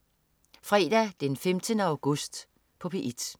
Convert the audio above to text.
Fredag den 15. august - P1: